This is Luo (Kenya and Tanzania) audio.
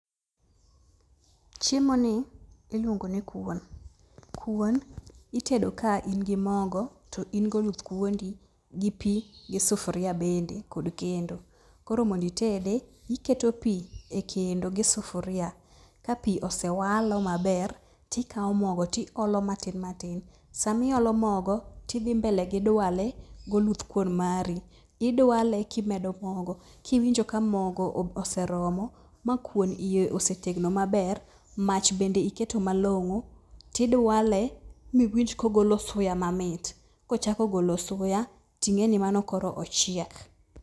Chiemoni iluongo ni kuon. Kuon itedo ka in gi mogo, to in goluth kuondi, pi gi sufuria bende kod kendo. Koro mondo itede, iketo pi ekendo gi sufuria, ka pi osewalo maber, tikawo mogo tiolo matin matin. Samiolo mogo, tidhi mbele gidwale goluth kuon mari. Idwale kimedo mogo, kiwinjo ka mogo oseromo makuon iye osetegno maber, mach bende iketo malong'o, tidwale miwinj kogolo suya mamit. Kochako golo suya, ting'e ni mano ochiek.